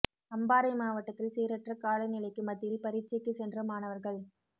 அம்பாறை மாவட்டத்தில் சீரற்ற கால நிலைக்கு மத்தியில் பரீட்சைக்கு சென்ற மாணவர்கள்